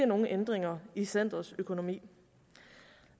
nogen ændringer i centerets økonomi